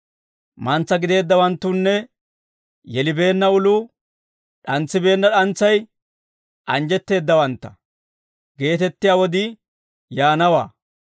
‹Mantsa gideeddawanttunne yelibeenna uluu, d'antsibeenna d'antsay, anjjetteeddawantta› geetettiyaa wodii yaanawaa.